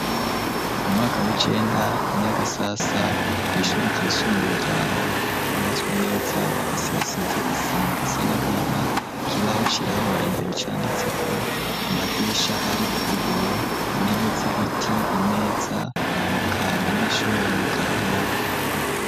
Mu mwaka w'icenda inyagasasa ku ishure ryisumbuye ryaho cubatswe neza hasi hasize isima isa n'agahama ikibaho cirabura imbere canditse ko amadirisha ariko ibiyo, intebe z'ibiti ,imeza reka abanyeshure bari mu karuhuku.